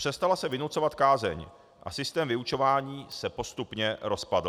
Přestala se vynucovat kázeň a systém vyučování se postupně rozpadl.